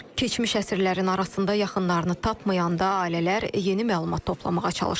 Keçmiş əsirlərin arasında yaxınlarını tapmayanda ailələr yeni məlumat toplamağa çalışırlar.